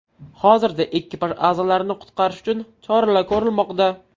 Hozirda ekipaj a’zolarini qutqarish uchun choralar ko‘rilmoqda.